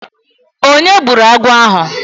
Onye gburu agwọ̀ ahụ?